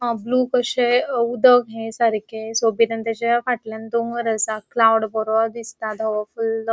अ blue कशे उदक ये सारखे सोबीत ये ताचा फाटल्याण डोंगोर असा क्लाउड बोरो दिसता धोवों फूल --